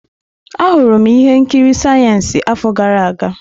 Ahụrụ m ihe nkiri siyensị afọ gara aga.